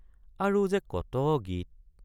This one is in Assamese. আৰু যে কত গীত!